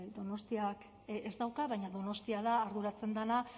donostiak ez dauka baina donostia da arduratzen dena